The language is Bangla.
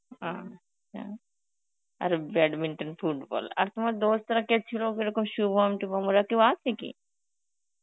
উম আর badminton, football আর তোমার Hindi রা কে ছিল যেরকম শুভম টুভম কি ওরা কেউ আছে কি?